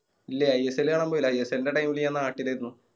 ഇല്ല ISL കാണാൻ പോയില്ല ISL ൻറെ Time ല് ഞാൻ നാട്ടിലായിന്നു